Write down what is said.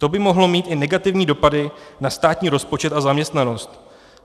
To by mohlo mít i negativní dopady na státní rozpočet a zaměstnanost.